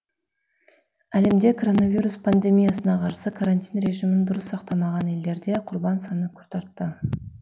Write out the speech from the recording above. әлемде коронавирус пандемиясына қарсы карантин режимін дұрыс сақтамаған елдерде құрбандар саны күрт артты